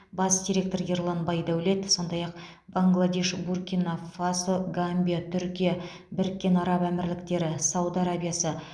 бас директоры ерлан байдәулет сондай ақ бангладеш буркина фасо гамбия түркия біріккен араб әмірліктері сауд арабиясы